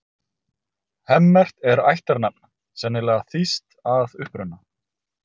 Hemmert er ættarnafn, sennilega þýskt að uppruna.